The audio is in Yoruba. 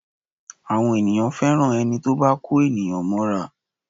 Àwọn ènìyàn fẹ́ràn ẹni tí ó bá kó ènìyàn mọ́ra